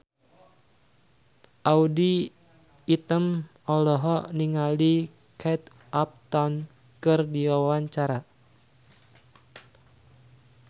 Audy Item olohok ningali Kate Upton keur diwawancara